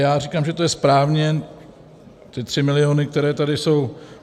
Já říkám, že to je správně, ty 3 miliony, které tady jsou.